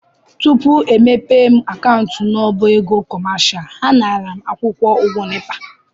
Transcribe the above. Tupu e mepee m akaụntụ n'ọbá ego kọmashal, ha nara m akwụkwọ ụgwọ NEPA.